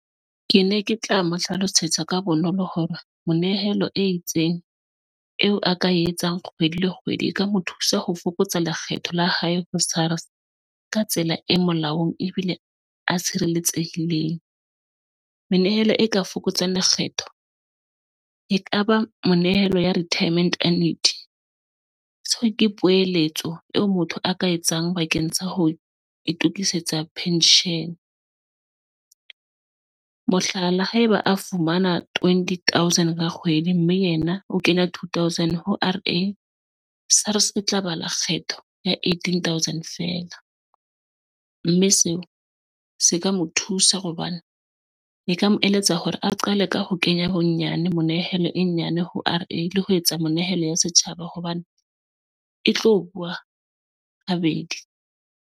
Ke ne ke tla mo hlalosetsa ka bonolo hore monehelo e itseng eo a ka e etsang kgwedi le kgwedi, e ka mo thusa ho fokotsa lekgetho la hae ho SARS ka tsela e molaong ebile a tshireletsehileng. Menehelo e ka fokotsang lekgetho ekaba monehelo ya retirement annuity, seo ke puseletso eo motho a ka etsang bakeng sa ho itukisetsa pension, mohlala haeba a fumana twenty thousand ka kgwedi, mme yena o kenya two thousand ho SARS e tla balwa kgetho ya eighteen thousand feela mme seo se ka mo thusa hobane e ka mo eletsa hore a qale ka ho kenya bonyane monehelo e nyane ho ile ho etsa menehelo ya setjhaba hobane e tlo bua ha bedi.